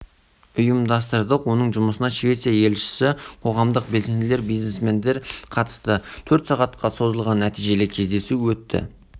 бері біз кездесу өткіздік әр кезеңде жасалған қорытындылар мен ұсыныстарды жете қарастырдық нәтижесінде дөңгелек үстел